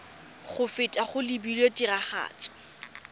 go feta go lebilwe tiragatso